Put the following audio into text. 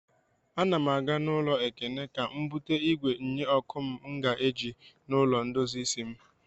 Ana m aga n'ụlọ Ekene ka m bute igwe nye ọkụ m ga-eji n'ụlọ ndozi isi m.